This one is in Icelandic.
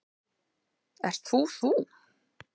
Ert þú þú?